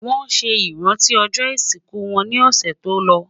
wón sé iranti ojó isiku wón ni ọsẹ tòló